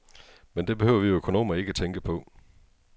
Men det behøver vi økonomer ikke tænke på.